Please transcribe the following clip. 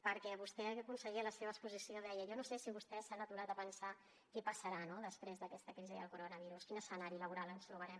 perquè vostè conseller a la seva exposició deia jo no sé si vostès s’han aturat a pensar què passarà després d’aquesta crisi del coronavirus quin escenari laboral ens trobarem